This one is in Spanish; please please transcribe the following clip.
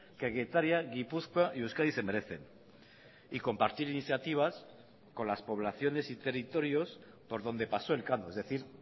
que getaria gipuzkoa y euskadi se merecen y compartir iniciativas con las poblaciones y territorios por donde paso elcano es decir